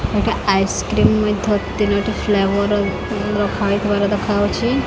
ଏଇଟା ଆଇସକ୍ରିମ ମେଥ ତିନୋଟି ଫ୍ଲେଭର୍ ରଖା ହେଇ ଥିବାର ଦେଖାଆଉଚି।